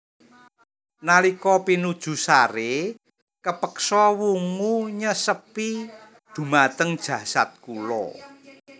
Nalika pinuju sare kapeksa wungu nyesepi dhumateng jasad kula